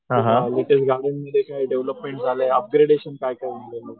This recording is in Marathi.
डेव्हलपमेंट झालं आहे अपग्रेडेशन काय काय झालं आहे?